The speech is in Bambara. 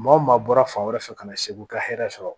Maa o maa bɔra fan wɛrɛ fɛ ka na segu ka hɛrɛ sɔrɔ